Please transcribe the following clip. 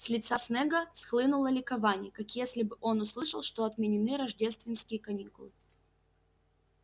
с лица снегга схлынуло ликование как если бы он услышал что отменены рождественские каникулы